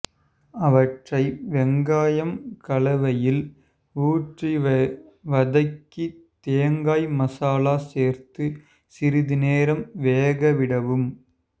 அவற்றை வெங்காயம் கலவையில் ஊற்றி வதக்கி தேங்காய் மசாலா சேர்த்து சிறிது நேரம் வேக விடவும்